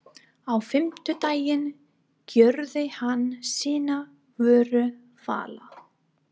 Á fimmtudaginn gjörði hann sína vöru fala.